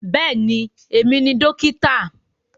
Bẹ́ẹ̀ni, èmi ni dókítà